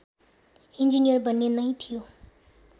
engineer बन्ने नै थियो